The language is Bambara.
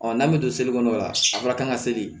n'an bɛ to seli kɔnɔ o la a fɔra k'an ka seli